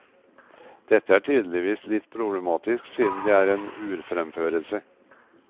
Dette er tydeligvis litt problematisk siden det er en urfremførelse.